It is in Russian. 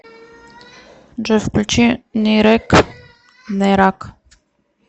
джой включи нерак н е р а к